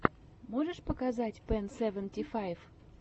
можешь показать пэн сэвэнти файв